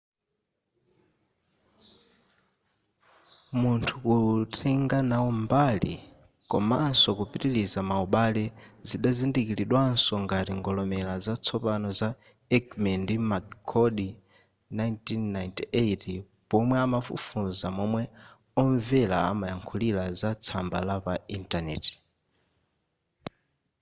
munthu kutenga nawo mbali” komanso kupitiliza maubale” zidazindikiridwanso ngati ngolomera za tsopano za eighmey ndi mccord 1998 pomwe amafufuza momwe omvera amayankhulira za tsamba la pa internet